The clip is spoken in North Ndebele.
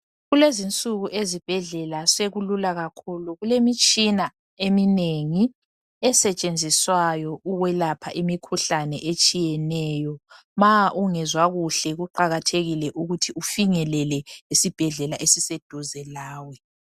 Kulezinsuku ezibhedlela sokulula kakhulu, kulemitshina eminengi esetshenziswayo ukwelapha imikhuhlane etshiyeneyo. Ma ungezwa kuhle kuqakathekile ukuthi ufinyelele esibhedlela esiseduze lawe.